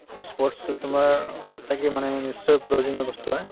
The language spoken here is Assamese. ই sports তো তোমাৰ সঁচাকে মানে নিশ্চয় প্ৰয়োজনীয় বস্তু haa